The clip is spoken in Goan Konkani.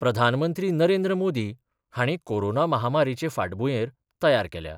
प्रधानमंत्री नरेंद्र मोदी हांणी कोरोना महामारीचे फाटभुंयेर तयार केल्या.